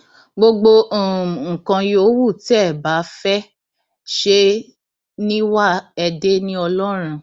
gbogbo um nǹkan yòówù tẹ ẹ bá fẹẹ ṣe é ní wà ẹ dé ní ọlọrun